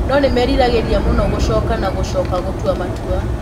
No nĩ meriragĩria mũno gũcoka na gũcoka gũtua matua.